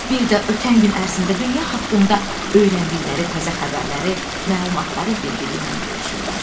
Bir də ötən gün ərzində dünya haqqında öyrəndikləri təzə xəbərləri, məlumatları bir-biri ilə bölüşürlər.